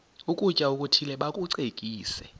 ukutya okuthile bakucekise